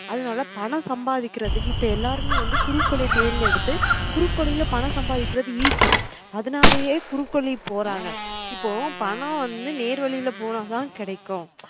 அதுனால பணம் சம்பாதிக்குறதுக்கு இப்ப எல்லாருமே வந்து குறுக்கு வழிய தேர்ந்தெடுத்து குறுக்கு வழில பணம் சம்பாதிகுறது easy அதுனாலயே குறுக்கு வழி போறாங்க இப்ப பணம் வந்து நேர்வழில போன தான் கிடைக்கும்